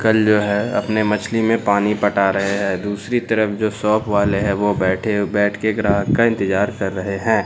कल जो है अपने मछली में पानी पटा रहे हैं दूसरी तरफ जो शॉप वाले हैं वो बैठे बैठ के ग्राहक का इंतजार कर रहे हैं।